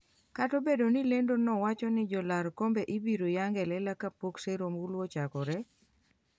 kata obedo ni lendo no wacho ni jolar kombe ibiro yang elela kapok sero ombulu ochakore